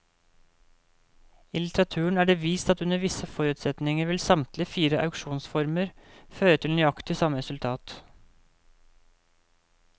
I litteraturen er det vist at under visse forutsetninger vil samtlige fire auksjonsformer føre til nøyaktig samme resultat.